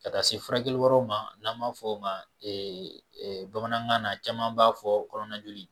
Ka taa se furakɛli wɛrɛw ma n'an b'a fɔ o ma ee bamanankan na caman b'a fɔ kɔnɔna joli.